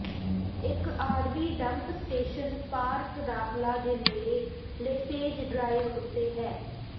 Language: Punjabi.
ਇੱਕ ਆਰਵੀ ਡੰਪ ਸਟੇਸ਼ਨ ਪਾਰਕ ਦਾਖਲਾ ਦੇ ਨੇੜੇ ਲੇਸੇਜ ਡ੍ਰਾਇਵ ਉੱਤੇ ਹੈ